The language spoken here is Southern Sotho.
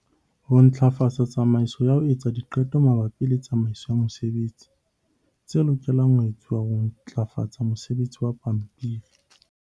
Ho ntlafatsa tsamaiso ya ho etsa diqeto mabapi le tsamaiso ya mosebetsi - tse lokelang ho etswa ho ntlafatsa mosebetsi wa pampiri.